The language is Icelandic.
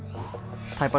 tæpar